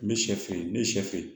N bɛ sɛ fin n bɛ sɛ fe ye